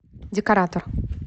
декоратор